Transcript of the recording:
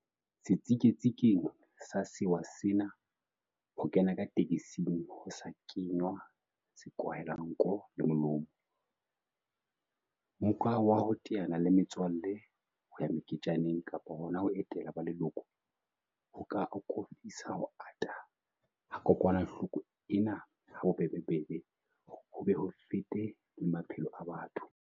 Setsiketsing sa sewa sena, ho kena ka tekesing ho sa kenngwa sekwahelanko le molomo, mmoka wa ho teana le metswalle, ho ya meketjaneng kapa hona ho etela ba leloko, ho ka akofisa ho ata ha kokwanahloko ena habobebe ho be ho fete le maphelo a batho.